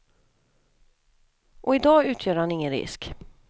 Och i dag utgör han ingen risk.